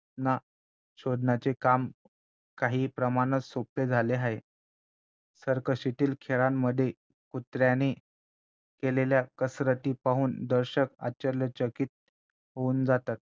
ना शोधण्याचे काम काही प्रमाणात सोपे झाले आहे सर्कशीतील खेळांमध्ये कुत्र्याने केलेल्या कसरती पाहून दर्शक आश्चर्यचकित होऊन जातात